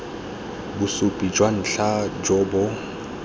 bosupi jwa ntlha jo bo